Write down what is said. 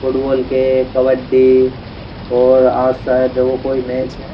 Football के कबड्डी और आज शायद देखो कोई मैच है।